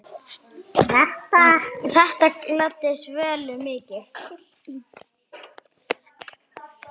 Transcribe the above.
Þetta gladdi Svönu mikið.